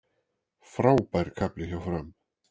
Frábær kafli hjá Fram